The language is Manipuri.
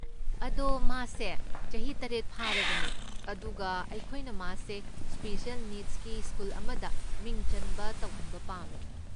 ꯑꯗꯣ, ꯃꯥꯁꯦ ꯆꯍꯤ ꯇꯔꯦꯠ ꯐꯥꯔꯕꯅꯦ ꯑꯗꯨꯒ ꯑꯩꯈꯣꯏꯅ ꯃꯥꯁꯦ ꯁ꯭ꯄꯦꯁꯤꯑꯦꯜ ꯅꯤꯗꯁꯀꯤ ꯁ꯭ꯀꯨꯜ ꯑꯃꯗ ꯃꯤꯡ ꯆꯟꯕ ꯇꯧꯍꯟꯕ ꯄꯥꯝꯃꯦ꯫